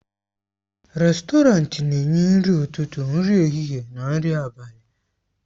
Rèstọrantị na-enye nri ụtụtụ, nri ehihie na nri abalị.